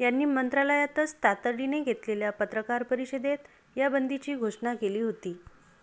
यांनी मंत्रालयातच तातडीने घेतलेल्या पत्रकार परीषदेत या बंदीची घोषणा केली होती